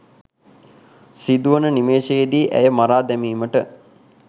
සිදුවන නිමේෂයේදී ඇය මරා දැමීමට